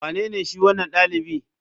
Wanene shi wanan dalibi?